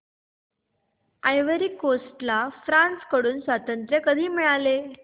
ivory Coast ला France कडून स्वातंत्र्य कधी मिळाले